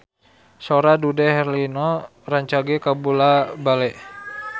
Sora Dude Herlino rancage kabula-bale